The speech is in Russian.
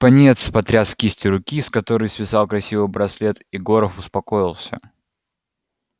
пониетс потряс кистью руки с которой свисал красивый браслет и горов успокоился